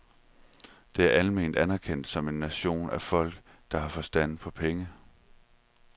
Det er alment anerkendt som en nation af folk, der har forstand på penge.